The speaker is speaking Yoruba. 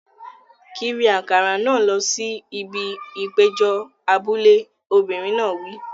Kiri àkàrà náà lọ sí ibi ìpéjọ abúlé! Obìnrin náà wí.